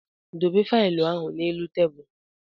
Dobe failụ ahụ n'elu tebụlụ!